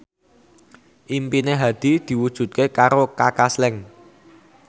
impine Hadi diwujudke karo Kaka Slank